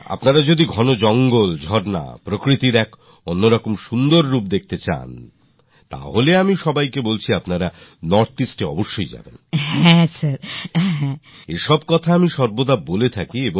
আসুন তাদের সঙ্গে কথা বলি